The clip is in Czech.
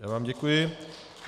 Já vám děkuji.